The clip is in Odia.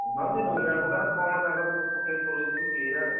ହଁ ସେଇ ଦୁନିଆ ପ୍ରକାର କଣ ତାଙ୍କର ସବୁ ପକେଇକରୁଛନ୍ତି? କିଏ ଜାଣେ?